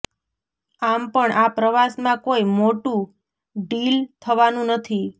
આમ પણ આ પ્રવાસમાં કોઈ મોટું ડીલ થવાનું નથી